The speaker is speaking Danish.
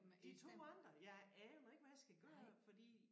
De 2 andre jeg aner ikke hvad jeg skal gøre fordi